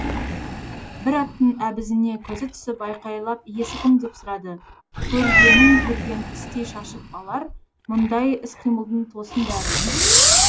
бір аттың әбізіне көзі түсіп айқайлап иесі кім деп сұрады көргенін көрген түстей шашып алар мұндайда іс қимылдың тосын бәрі